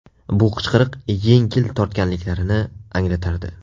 Bu qichqiriq yengil tortganliklarini anglatardi.